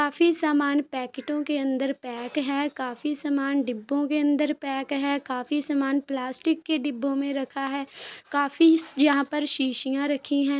काफी सामान पैकेटों के अंदर पैक है। काफी सामान डिब्बों के अंदर पैक है। काफी सामान प्लास्टिक के डिब्बों में रखा है। काफी यहाँ पर शीशियां रखी हैं।